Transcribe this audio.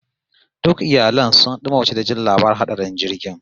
Duk iyalai sun dimauce da jin labarin hatsarin jirgin